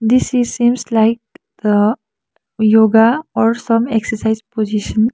this is seems like a yoga or some exercise position.